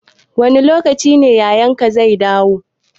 Wani lokaci yayan ka zai dawo?